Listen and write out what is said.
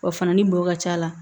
Wa furanni bɔ ka ca la